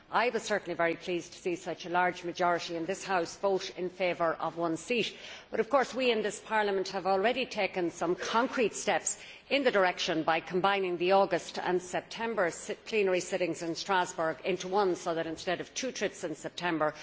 I was very pleased to see such a large majority in this House vote in favour of one seat, but we in Parliament have already taken some concrete steps in that direction by combining the August and September plenary sittings in Strasbourg into one instead of two trips in September.